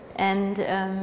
en